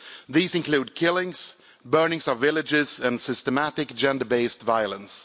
These include killings burnings of villages and systematic gender based violence.